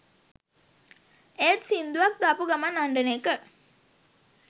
ඒත් සිංදුවක් දාපු ගමන් අඬන එක